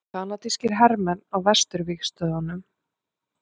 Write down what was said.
Kanadískir hermenn á vesturvígstöðvunum.